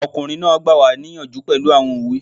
Ọkùnrin náà gbà wá níyànjú pẹ̀lú àwọn òwe